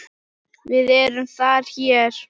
VIÐ ERUM ÞAR HÉR